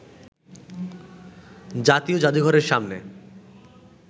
জাতীয় জাদুঘরের সামনে